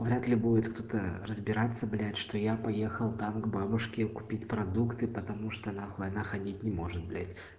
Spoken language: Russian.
вряд ли будеткто-то разбираться блять что я поехал там к бабушке купить продукты потому что она нахуй она ходить не может блять